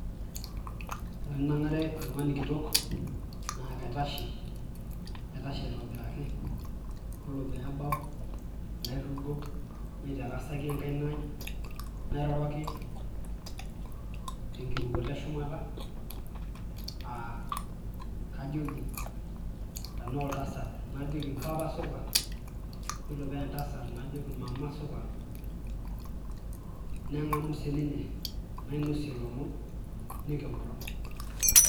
Tenanang'are oltung'ani kitok naa kaitashe ,naitashe aitobiraki ore peebau nairugo naitarasaki enkaina aai nairoroki tenkirukoto eshumata aa kajoki tenaa oltasat najoki mpapa supa yiolo paa entasat najoki mama supa neng'amu siininye nainosie ilomon niworo.